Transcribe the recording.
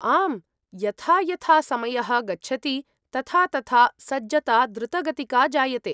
आम्, यथा यथा समयः गच्छति तथा तथा सज्जता द्रुतगतिका जायते।